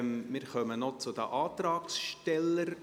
Wir kommen noch zu den Antragstellern.